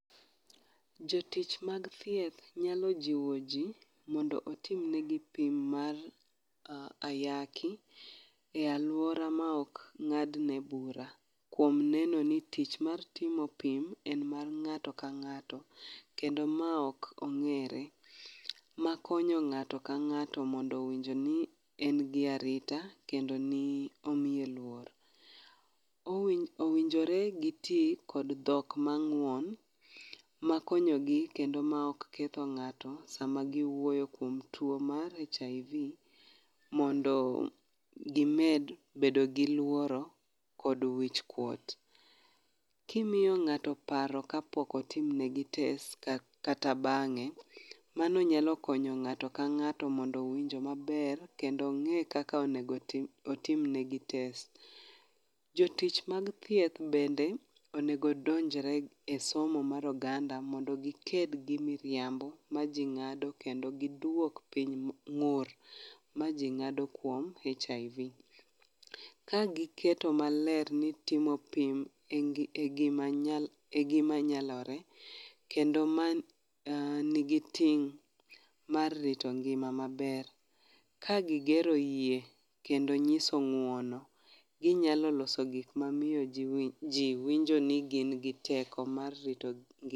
Jatich mag thieth nyalo jiwo ji mondo otim negi pim mar ayaki,e alwora ma ok ng'adne bura kuom neno ni tich mar timo pim en mar ng'ato ka ng'ato kendo ma ok ong'ere, ma konyo ng'ato ka ng'ato mondo owinj ni en gi arita kendo ni omiye luor. Owinjore giti kod dhok mang'uon, ma konyogi kendo ma ok ketho ng'ato sama giwuoyo kuom tuwo mar hiv mondo gibed bedo gi luoro kod wichkuot. Kimiyo ng'ato paro kapok otimnegi test kata bang'e, mano nyalo konyo ng'ato ka ng'ato mondo owinjo maber kendo ong'e kaka onego otim negi test. Jotich mag thieth bende onegi odonjre e somo mar oganda mondo giked gi miriambo ma ji ng'ado kendo gidwok piny ng'ur ma ji ng'ado kuom hiv. Kagiketo maler ni itimo pim e gima nyalore, kendo ma nigi ting' mar rito ngima maber, ka gigero yie kendo nyiso ng'uono, ginyalo loso gik mamiyo ji winjo ni gin gi teko mar rito ngima.